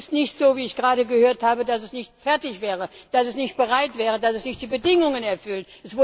Und es ist nicht so, wie ich gerade gehört habe, dass es nicht fertig wäre, dass es nicht bereit wäre, dass es nicht die Bedingungen erfüllt.